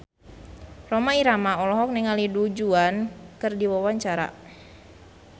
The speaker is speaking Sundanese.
Rhoma Irama olohok ningali Du Juan keur diwawancara